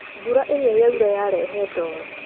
Mbura ĩrĩa yaura yarehe ndoro